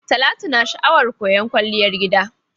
Talatu na sha'awar koyan Kwalliyar gida.